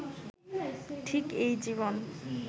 ঠিক এই জীবন